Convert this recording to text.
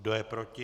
Kdo je proti?